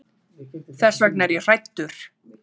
Þess vegna er ég hræddur.